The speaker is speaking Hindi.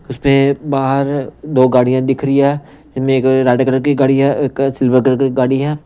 उस पे बाहर दो गाड़ियां दिख रही है इसमें एक रेड कलर की गाड़ी है एक सिल्वर कलर की गाड़ी है।